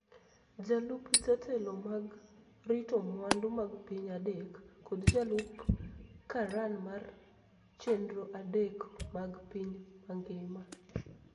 jolup jatelo mag rito mwandu mag piny adek, kod jolup karan mar chenro' adek mag piny mangima.